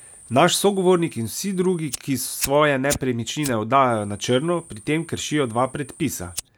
Naš sogovornik in vsi drugi, ki svoje nepremičnine oddajajo na črno, pri tem kršijo dva predpisa.